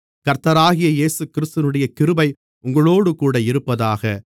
கர்த்தராகிய இயேசுகிறிஸ்துவினுடைய கிருபை உங்களோடுகூட இருப்பதாக